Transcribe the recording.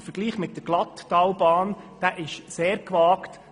Der Vergleich mit der Glatttalbahn ist sehr gewagt;